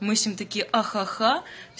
мы с ним такие ха-ха